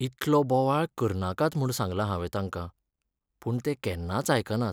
इतलो बोवाळ करनाकात म्हूण सांगलां हांवें तांकां, पूण ते केन्नाच आयकनात.